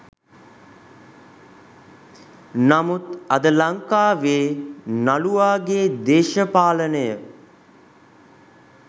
නමුත් අද ලංකාවේ නළුවාගේ දේශපාලනය